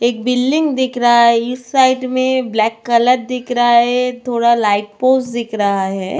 एक बिल्डिंग दिख रहा है इस साइड में ब्लैक कलर दिख रहा है थोड़ा लाइट पोज दिख रहा है.